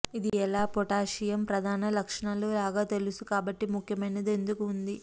ఇది ఎలా పొటాషియమ్ ప్రధాన లక్షణాలు లాగా తెలుసు కాబట్టి ముఖ్యమైనది ఎందుకు ఉంది